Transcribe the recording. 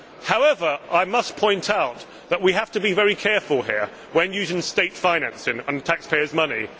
However, I must point out that we have to be very careful here when using state financing and taxpayers' money.